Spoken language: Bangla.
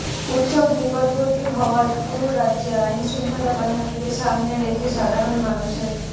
উত্সব নিকটবর্তী হওয়ায় পুরো রাজ্যে আইনশৃঙ্খলা বাহিনীকে সামনে রেখে সাধারণ মানুষের